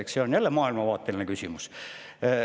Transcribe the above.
Eks see on jälle maailmavaateline küsimus.